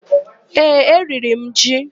Ee, eriri m ji.